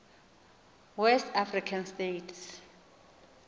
west african states